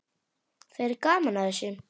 Það er gaman að þessu.